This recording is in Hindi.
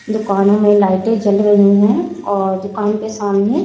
दुकानों में लाइटें जल रही हैं और दुकान के सामने--